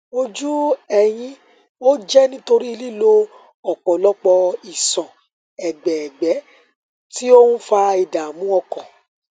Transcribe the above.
ojú ẹyin ó jẹ nítorí lílo ọpọlọpọ iṣan ẹgbẹ ẹgbẹ tí ó ń fa ìdààmú ọkàn